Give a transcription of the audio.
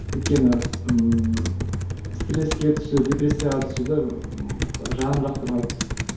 өйткені ііі стреске түсу депрессияға түсуді жаным жақтырмайды